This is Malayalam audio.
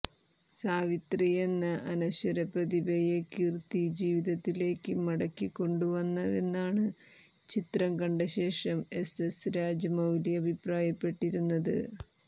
സാവിത്രിയെന്ന അനശ്വര പ്രതിഭയെ കീര്ത്തി ജീവിതത്തിലേക്ക് മടക്കികൊണ്ടുവന്നുവെന്നാണ് ചിത്രം കണ്ട ശേഷം എസ് എസ് രാജമൌലി അഭിപ്രായപ്പെട്ടിരുന്നത്